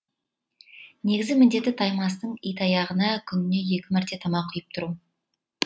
негізгі міндеті таймастың итаяғына күніне екі мәрте тамақ құйып тұру